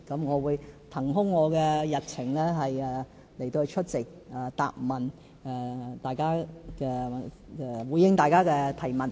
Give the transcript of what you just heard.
我會騰空日程出席答問會，回應大家的提問。